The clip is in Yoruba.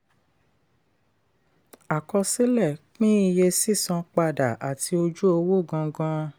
àkọsílẹ̀ pín iye sísan padà àti ojú owó gangan.